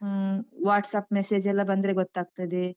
ಹ್ಮ್, WhatsApp message ಎಲ್ಲ ಬಂದ್ರೆ ಗೊತ್ತಾಗ್ತದೆ.